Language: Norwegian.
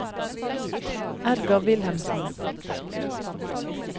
Edgar Wilhelmsen